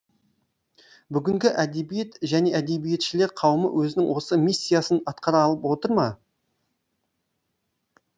бүгінгі әдебиет және әдебиетшілер қауымы өзінің осы миссиясын атқара алып отыр ма